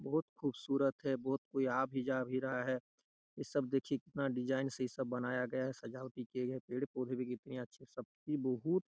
बहुत खूबसूरत है बहुत कोई आ भी जा रहा है इ सब देखिये कितना डिज़ाइन से सब बनाया गया है सजावट की गई है पेड़ पौधे भी कितने अच्छे से सब भी बहुत--